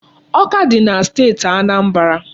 Awka dị na Steeti Anambra.